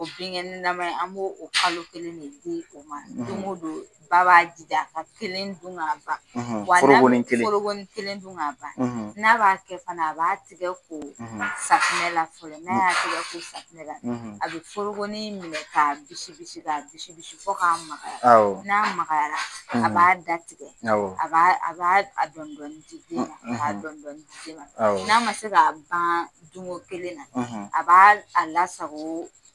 Binkɛnɛnaman in an b'o kalo kelen de di u ma. Don go don ba b'a jija a ka kelen dun ka ban. Forokonin kelen? Forokonin kelen dun ka ban. N'a b'a kɛ fana, a b'a tigɛ ko safunɛ la fɔlɔ. N'a ya tigɛ ko safunɛ la ,a bi forokonin minɛ k'a bisibisi , k'a bisibisi fo ka makaya. N'a makayala , a b'a da tigɛ , a b'a dɔɔni dɔɔni di den ma k'a dɔɔni dɔɔni di den ma . N'a ma se ka ban dun ko kelen na , a b'a lasago .